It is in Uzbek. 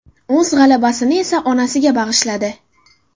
O‘z g‘alabasini esa onasiga bag‘ishladi.